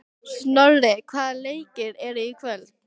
Snorri, hvaða leikir eru í kvöld?